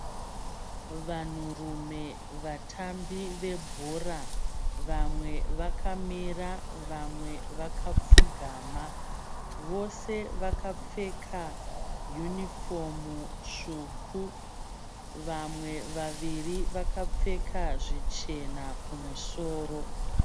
Vanhurume vatambi vebhora. Vamwe vakamira vamwe vakapfugama. Vose vakapfeka yunifomu tsvuku. Vamwe vaviri vakapfeka zvichena kumusoro.